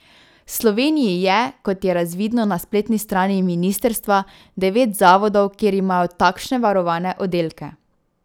V Sloveniji je, kot je razvidno na spletni strani ministrstva, devet zavodov, kjer imajo takšne varovane oddelke.